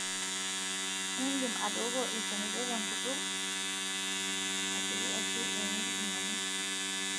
indim atooko ilchanito tenkutuk, asioki ashu emieki ingonyo,